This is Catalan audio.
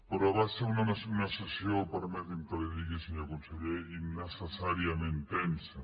però va ser una sessió permeti’m que li ho digui senyor conseller innecessàriament tensa